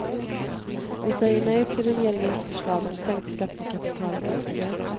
Vi säger nej till regeringens förslag om sänkt skatt på kapital och aktier.